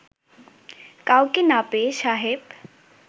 কাউকে না পেয়ে সাহেব